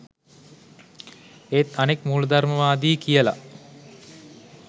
ඒත් අනෙක් මූලදර්මවාදි කියල